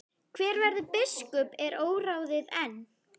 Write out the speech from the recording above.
Hver verður biskup er óráðið enn.